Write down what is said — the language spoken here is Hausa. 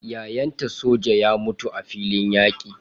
Yayanta soja ya mutu a filin yaƙi.